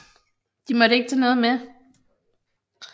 De måtte ikke tage noget med